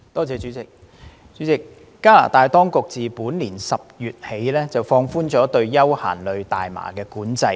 主席，加拿大當局自本年10月起，放寬了對休閒類大麻的管制。